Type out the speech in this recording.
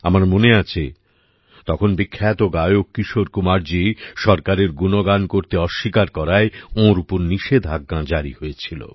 আমার মনে আছে তখন বিখ্যাত গায়ক কিশোর কুমারজী সরকারের গুণগান করতে অস্বীকার করায় ওঁর উপর নিষেধাজ্ঞা জারি হয়েছিল